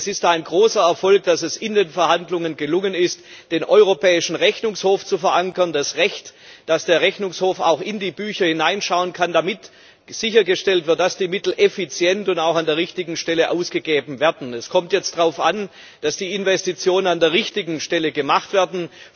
Es ist ein großer Erfolg, dass es in den Verhandlungen gelungen ist, den Europäischen Rechnungshof zu verankern, das Recht, dass der Rechnungshof auch in die Bücher hineinschauen kann, damit sichergestellt wird, dass die Mittel effizient und auch an der richtigen Stelle ausgegeben werden. Es kommt jetzt darauf an, dass die Investitionen an der richtigen Stelle getätigt werden.